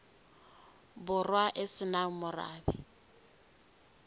borwa e se nang morabe